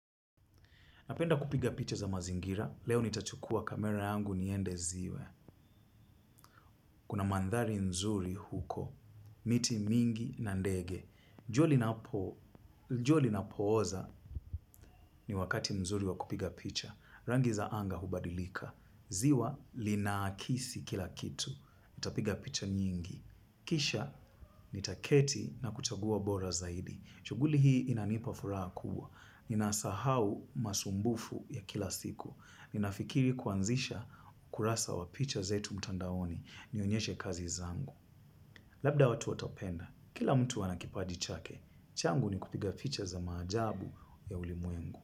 Napenda kupiga picha za mazingira, leo nitachukua kamera yangu niende ziwa. Kuna mandhari nzuri huko, miti mingi na ndege. Jua linapoiza ni wakati nzuri wa kupiga picha. Rangi za anga hubadilika. Ziwa linaakisi kila kitu. Nitapiga picha nyingi. Kisha nitaketi na kuchagua bora zaidi. Shughuli hii inanipa furaha kubwa. Ninasahau masumbufu ya kila siku. Ninafikiri kuanzisha kurasa wa picha zetu mtandaoni nionyeshe kazi zangu. Labda watu watapenda, kila mtu ana kipaji chake, changu ni kupiga picha za maajabu ya ulimwengu.